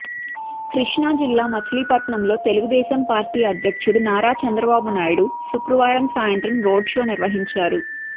కృష్ణా జిల్లా మచిలీపట్నంలో తెలుగుదేశం పార్టీ అధ్యక్షుడు నారా చంద్రబాబు నాయుడు శుక్రవారం సాయంత్రం రోడ్ షో నిర్వహించారు